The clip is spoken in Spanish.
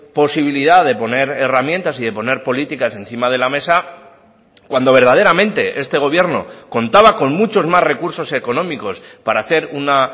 posibilidad de poner herramientas y de poner políticas encima de la mesa cuando verdaderamente este gobierno contaba con muchos más recursos económicos para hacer una